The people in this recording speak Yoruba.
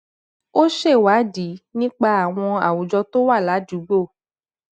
ó ṣèwádìí nípa àwọn àwùjọ tó wà ládùúgbò